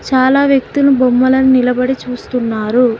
చాలా వ్యక్తులు బొమ్మలను నిలబడి చూస్తున్నారు.